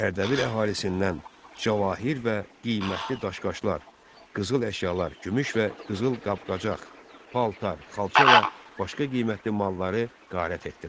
Ərdəbil əhalisindən cavahir və qiymətli daş-qaşlar, qızıl əşyalar, gümüş və qızıl qab-qacaq, paltar, xalça və başqa qiymətli malları qarət etdilər.